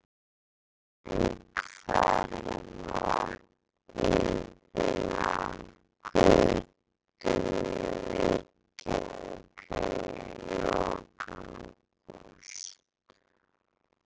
En hverfa vagnarnir af götum Reykjavíkur í lok ágúst?